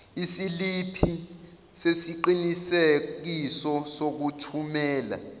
isiliphi sesiqinisekiso sokuthumela